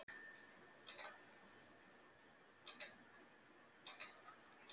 Hugrún Halldórsdóttir: Já, lögreglan hefur fært þér blómin?